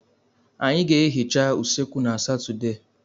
Anyị ga-ehicha usekwu na Satọde.